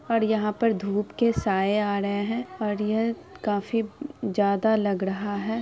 और यहाँ पर धूप के साये आ रहे हैं और ये काफी जादा लग रहा है।